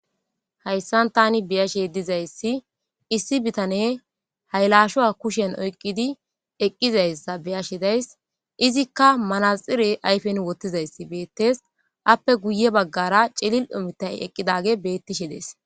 hayssan tani biyashe dizayssi issi bitane haylashuwa kushen oyqqidi eqqizayssa biyashe days izikka manaxire ayfen wottizayssi beettes appe guye baggara celil omitay eqqidage bettishe dees